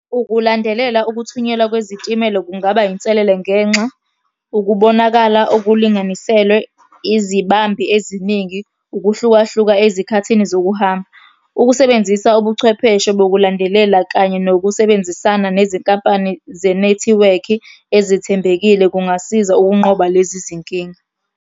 Ukulandelela ukuthunyelwa kwezitimela kungaba inselele ngenxa, ukubonakala okulinganiselwe, izibambi eziningi, ukuhlukahluka ezikhathini zokuhamba. Ukusebenzisa ubuchwepheshe bokulandelela kanye nokusebenzisana nezinkampani zenethiwekhi ezithembekile kungasiza ukunqoba lezi zinkinga.